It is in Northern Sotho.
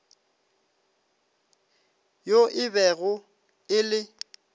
yo e bego e le